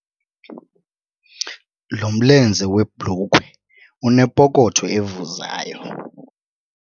Lo mlenze webhulukhwe unepokotho evuzayo.